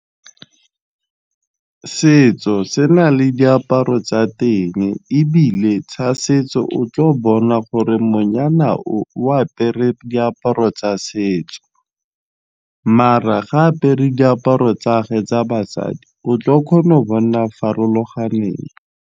Setso se na le diaparo tsa teng ebile setso o tlile go bona gore monyana o o apere diaparo tsa setso maar-a ga apere diaparo tsa ge tsa basadi o tlo o kgona go bona farologaneng.